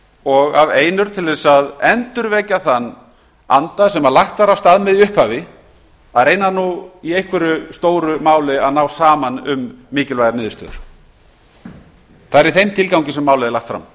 og af einurð til að endurvekja þann anda sem lagt var af stað með í upphafi að reyna nú í einhverju stóru máli að ná saman um mikilvægar niðurstöður það er í þeim tilgangi sem málið er lagt fram